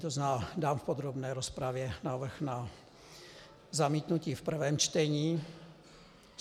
To znamená, dám v podrobné rozpravě návrh na zamítnutí v prvém čtení.